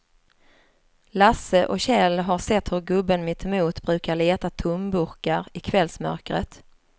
Lasse och Kjell har sett hur gubben mittemot brukar leta tomburkar i kvällsmörkret.